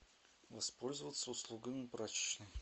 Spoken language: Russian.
воспользоваться услугами прачечной